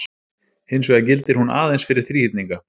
Hins vegar gildir hún aðeins fyrir þríhyrninga.